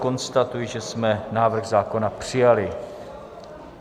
Konstatuji, že jsme návrh zákona přijali.